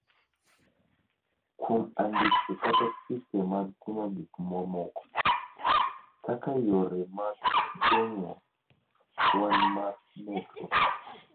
kuom andike kata chike mag timo gik mamoko, kaka yore mag geng’o kwan mar medruok